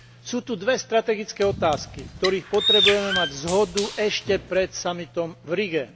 Sú tu dve strategické otázky, v ktorých potrebujeme mať zhodu ešte pred samitom v Rige.